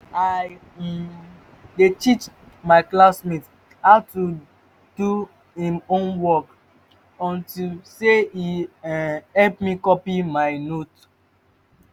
i um dey teach my classmate how to do im homework unto say e um help me copy my note